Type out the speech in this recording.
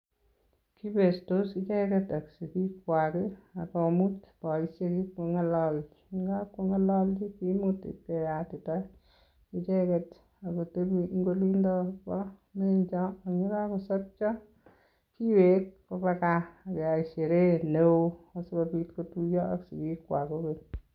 Kibestos icheket ak sigik kwaak akomut boisiek ipkongalalchi, ye kapkongalalchi, kimut ipkeyatita icheket agotebi eng' olindo bo menjo. Eng' ye kakosopcho, kiwek koba gaa ageyai sherehe neoo asikobit kotuyo ak sigik kwaak kokeny